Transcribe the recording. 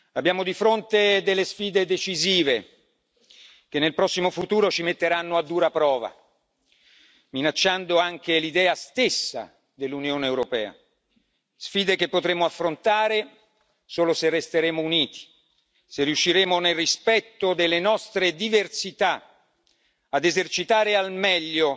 Abbiamo di fronte delle sfide decisive, che nel prossimo futuro ci metteranno a dura prova, minacciando anche l'idea stessa di Unione europea, sfide che potremmo affrontare solo se resteremo uniti, se riusciremo, nel rispetto delle nostre diversità, ad esercitare al meglio